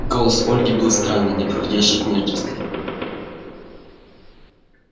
голос у ольги был странный неподходящий к внешности